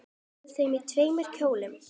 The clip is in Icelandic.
Verður þú í tveimur kjólum?